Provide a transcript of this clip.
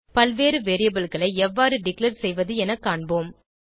பல்வேறு variableகளை எவ்வாறு டிக்ளேர் செய்வது என காண்போம்